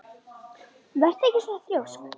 Vertu ekki svona þrjósk!